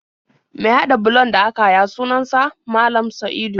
Mai haɗa bulon da aka haya sunan sa Malam Sa'idu.